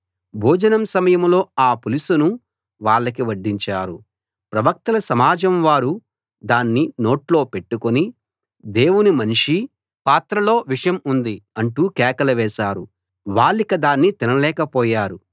భోజనం సమయంలో ఆ పులుసును వాళ్ళకి వడ్డించారు ప్రవక్తల సమాజం వారు దాన్ని నోట్లో పెట్టుకుని దేవుని మనిషీ పాత్రలో విషం ఉంది అంటూ కేకలు వేశారు వాళ్ళిక దాన్ని తినలేకపోయారు